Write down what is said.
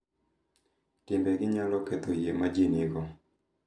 Timbe gi nyalo ketho yie ma ji nigo